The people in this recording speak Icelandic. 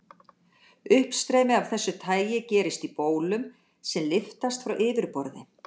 Uppstreymi af þessu tagi gerist í bólum sem lyftast frá yfirborði.